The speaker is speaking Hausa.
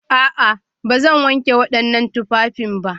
A'a, ba zan wanke waɗannan tufafin ba